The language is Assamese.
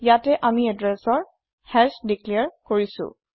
ইয়াতে আমি এদ্ৰেছৰ হাশ দিক্লেৰ কৰিছো